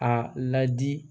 A ladi